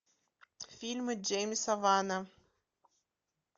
фильмы джеймса вана